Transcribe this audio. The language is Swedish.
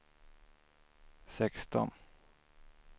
sexton